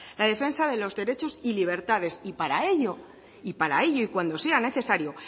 la defensa de los derechos y libertades y para ello para ello y cuando sea necesario